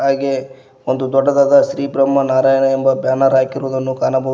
ಹಾಗೆ ಒಂದು ದೊಡ್ಡದಾದ ಶ್ರೀ ಬ್ರಹ್ಮ ನಾರಾಯಣ ಎಂಬ ಬ್ಯಾನರ್ ಹಾಕಿರುವುದನ್ನು ಕಾಣಬಹುದು.